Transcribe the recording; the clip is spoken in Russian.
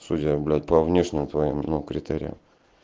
судя блять по внешним твоим ну критериям